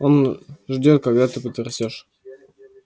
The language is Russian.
он ждёт когда ты подрастёшь